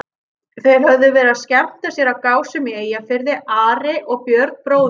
Þeir höfðu verið að skemmta sér á Gásum í Eyjafirði, Ari og Björn bróðir hans.